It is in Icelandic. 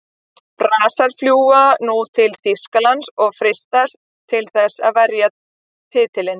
Brassar fljúga nú til Þýskalands og freistast til þess að verja titilinn.